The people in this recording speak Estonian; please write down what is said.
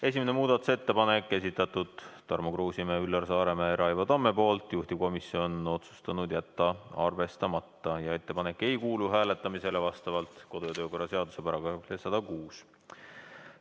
Esimene muudatusettepanek, esitanud Tarmo Kruusimäe, Üllar Saaremäe ja Raivo Tamm, juhtivkomisjon on otsustanud jätta selle arvestamata ja ettepanek ei kuulu hääletamisele vastavalt kodu- ja töökorra seaduse §-le 106.